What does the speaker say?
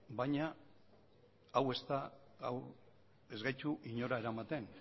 baina hau ez da hau ez gaitu inora eramaten